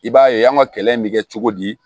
I b'a ye an ka kɛlɛ in bɛ kɛ cogo di